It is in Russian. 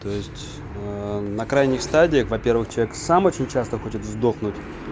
то есть на крайних стадиях во-первых человек сам очень часто хочет сдохнуть